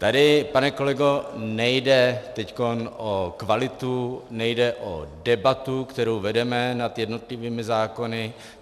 Tady, pane kolego, nejde teď o kvalitu, nejde o debatu, kterou vedeme nad jednotlivými zákony.